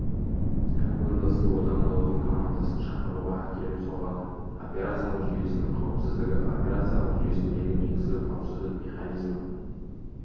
командасы одан да ұзын командасын шақыруға әкеліп соғады операциялық жүйесінің қауіпсіздігі операциялық жүйесіндегі негізгі қауіпсіздік механизмі